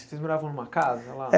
Vocês moravam numa casa lá? Eh